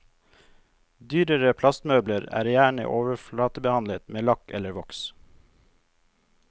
Dyrere plastmøbler er gjerne overflatebehandlet med lakk eller voks.